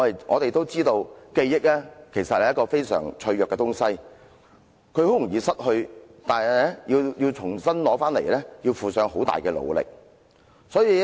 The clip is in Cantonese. "我們知道記憶是一種非常脆弱的東西，很容易失去，但要重新得到卻要付出很大的努力。